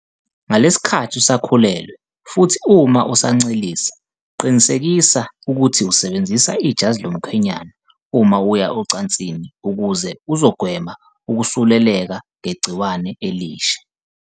Ngalesi sikhathi usakhulelwe, futhi uma usancelisa, qinisekisa ukuthi usebenzisa ijazi lomkhwenyana uma uya ocansini ukuze uzogwema ukusuleleka ngegciwane okusha.